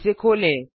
इसे खोलें